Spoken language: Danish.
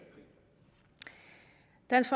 dansk